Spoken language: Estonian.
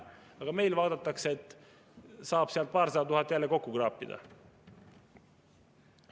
Aga nüüd vaadatakse, et saab jälle paarsada tuhat kokku kraapida.